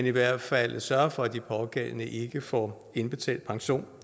i hvert fald sørger for at de pågældende ikke får indbetalt pension